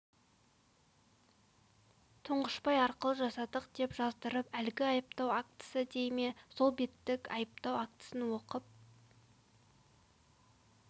тұңғышбай арқылы жасадық деп жаздырып әлгі айыптау актісі дей ме сол беттік айыптау актісін оқып